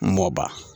N m'o ban